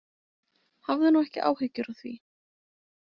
Hafðu nú ekki áhyggjur af því.